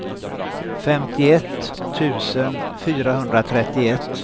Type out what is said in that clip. femtioett tusen fyrahundratrettioett